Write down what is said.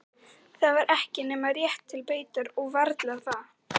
Það var ekki nema rétt til beitar og varla það.